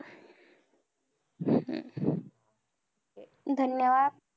धन्यवाद!